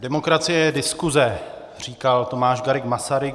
Demokracie je diskuse, říkal Tomáš Garrigue Masaryk.